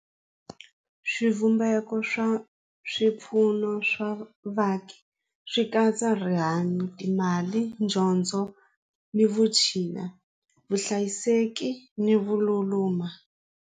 Swivumbeko swa swipfuno swa vaaki swi katsa rihanyo, timali, dyondzo ni vutshila, vuhlayiseki ni .